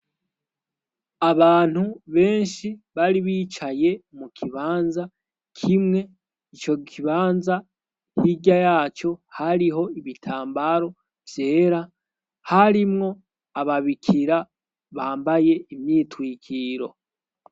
Abantu beshi bari bicaye mu kibanza kimwe ico kibanza hirya yaco hariho ibitambaro vyera harimwo ababikira bambaye imyitwikiro.